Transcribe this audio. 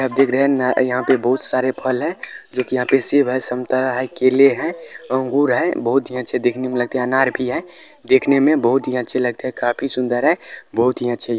आप देख रहे है यहाँ पर बहुत सारे फल है जो की यहा पर सेब है संतरा है केले है अंगूर है बहुत ही अच्छे लगते है देखने मे बहुत ही अच्छे लगते है अनार भी है काफी सुंदर है बहुत ही अच्छे --